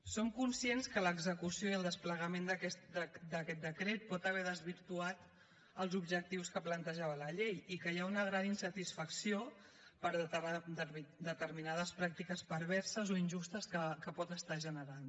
som conscients que l’execució i el desplegament d’aquest decret pot haver desvirtuat els objectius que plantejava la llei i que hi ha una gran insatisfacció per determinades pràctiques perverses o injustes que pot estar generant